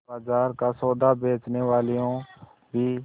बाजार का सौदा बेचनेवालियॉँ भी